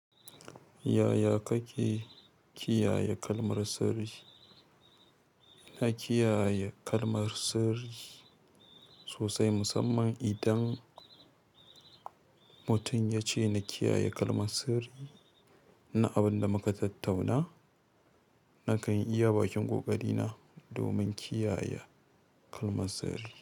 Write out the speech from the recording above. Yaya kake kiyaye kalmar sirri? Na kiyaye kalmar sirri sosai musamman idan mutum ya ce na kiyaye kalmar sirri na abin da muka tattauna, na kan iya bakin ƙoƙari na domin kiyaye kalmar sirri.